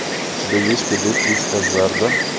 у тебя есть придурки из хаззарда